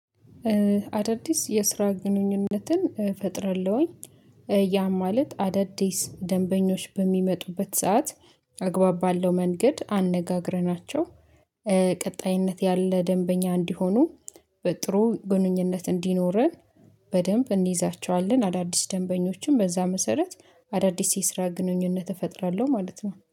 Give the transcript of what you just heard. አዳዲስ የስራ ግንኙነትን ፈጥራለሁኝ ያም ማለት አዳዲስ ደንበኞች በሚመጡበት ሰዓት አግባብ ባለው መንገድ አነጋግረናቸው ቀጣይነት ያለ ደንበኛ እንዲሆኑ በጥሩ ግንኙነት እንዲኖረን በደንብ እንይዛቸዋለን አዳዲስ ደንበኞችን በዛ መሰረት አዳዲስ የስራ ግንኙነት እፈጥራለሁ ማለት ነው።